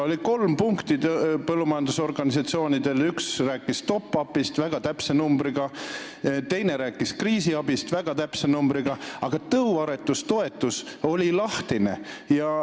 Põllumajandusorganisatsioonidel oli kolm punkti: üks rääkis top-up'ist, väga täpse numbriga, ja teine rääkis kriisiabist, väga täpse numbriga, aga tõuaretustoetus oli lahtine.